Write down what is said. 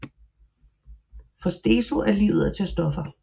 For Steso er livet at tage stoffer